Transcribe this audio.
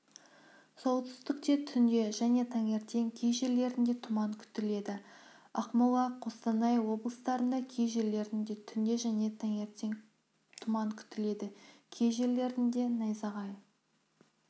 солтүстікте түнде және таңертең кей жерлерінде тұман күтіледі ақмола қостанай облыстарында кей жерлерінде түнде және таңертең тұман күтіледі кей жерлерде найзағай